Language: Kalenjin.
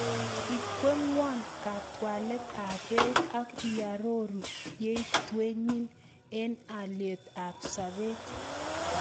Igueyewan katwalet ab beit ak iaroru yaityenyin en alyet ab sabet